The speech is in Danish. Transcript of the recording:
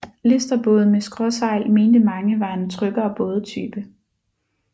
Listerbåde med skråsejl mente mange var en tryggere bådetype